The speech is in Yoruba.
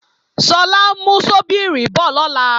Sọlá ń mú ṣọ́bíìrì bọ̀ lọ́la